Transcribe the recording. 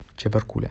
чебаркуля